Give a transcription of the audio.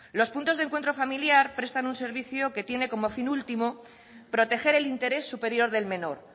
los puntos de encuentro familiar prestan un servicio que tienen como fin último proteger el interés superior del menor